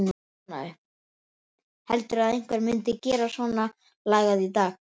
Heldurðu að einhver myndi gera svonalagað í dag?